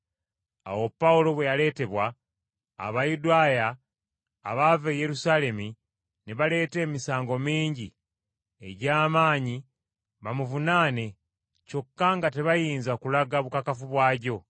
Awo Pawulo bwe yaleetebwa, Abayudaaya abaava e Yerusaalemi ne baleeta emisango mingi egy’amaanyi bamuvunaane kyokka nga tebayinza kulaga bukakafu bwagyo.